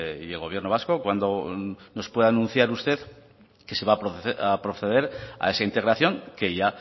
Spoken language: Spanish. y el gobierno vasco cuándo nos puede anunciar usted que se va a proceder a esa integración que ya